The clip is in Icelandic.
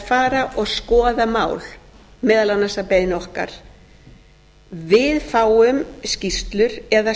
fara og skoða mál meðal annars að beiðni okkar við fáum skýrslur eða